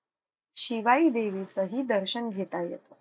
शिवाई देवीचंही दर्शन घेता येतं.